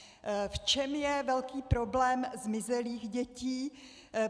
V čem je velký problém zmizelých dětí?